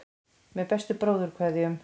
Með bestu bróðurkveðjum.